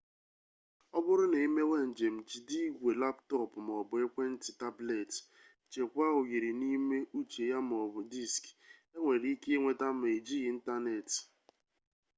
oburu na imewe njem jide igwe laptopu maobu ekwe-nti tableti chekwaa oyiri n’ime ucje ya maobu diski enwere-ike inweta ma ejighi intaneti